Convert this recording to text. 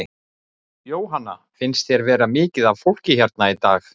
Jóhanna: Finnst þér vera mikið af fólki hérna í dag?